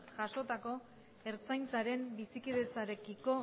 jasotako ertzaintzaren bizikidetzarekiko